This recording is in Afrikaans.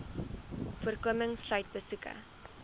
voorkoming sluit besoeke